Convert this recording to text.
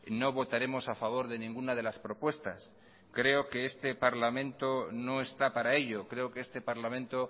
no votaremos a favor de ninguna de las propuestas creo que este parlamento no está para ello creo que este parlamento